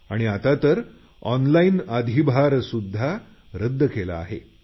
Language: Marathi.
आणि आतातर ऑनलाईन अधिभार सुध्दा रद्द केला आहे